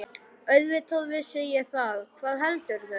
Auðvitað vissi ég það, hvað heldurðu!